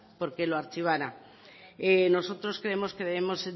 por qué lo archivara nosotros creemos que debemos